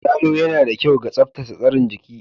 Yalo yana da kyau ga tsaftace tsarin jiki